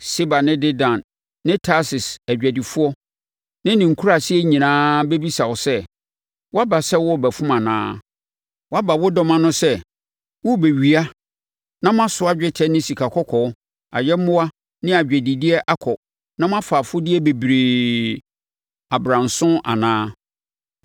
Seba ne Dedan ne Tarsis adwadifoɔ ne ne nkuraase nyinaa bɛbisa wo sɛ, “Woaba sɛ worebɛfom anaa? Woaboa wo dɔm ano sɛ morebɛwia na moasoa dwetɛ ne sikakɔkɔɔ, ayɛmmoa ne adwadideɛ akɔ na moafa afodeɛ bebree abranso anaa?” ’